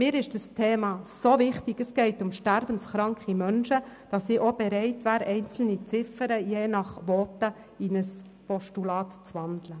Für mich ist das Thema sehr wichtig, es geht um sterbenskranke Menschen, sodass ich auch bereit wäre, einzelne Ziffern je nach Voten in ein Postulat umzuwandeln.